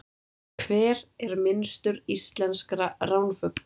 Hver er minnstur íslenskra ránfugla?